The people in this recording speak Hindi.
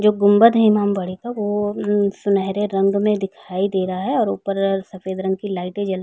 जो गुंबद है इमामबाड़े का वह उम्म सुनेहरे रंग में दिखाई दे रहा है और ऊपर सफेद रंग की लाइटे जल --